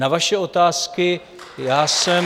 Na vaše otázky já jsem...